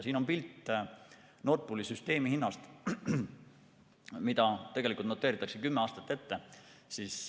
Siin on pilt Nord Pooli süsteemihinnast, mida noteeritakse kümme aastat ette.